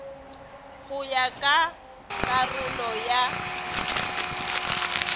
go ya ka karolo ya